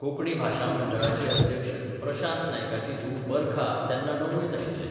कोंकणी भाशा मंडळाचे अध्यक्ष प्रशांत नायकाची धूव बरखा तेन्ना णववेंत आशिल्लें.